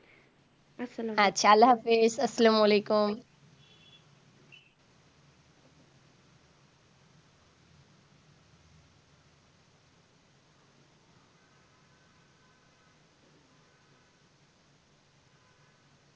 আচ্ছা আল্লাহ হাফেজ আসসালামুয়ালাইকুম